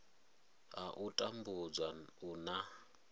ha u tambudzwa u na